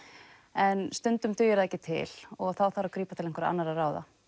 en stundum dugir það ekki til og þá þarf að grípa til einhverra annarra ráða